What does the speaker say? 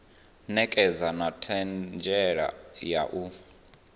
ṋekedza na ṱhanziela ya u